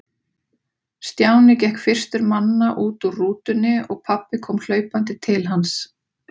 Stjáni gekk fyrstur manna út úr rútunni og pabbi kom hlaupandi til hans.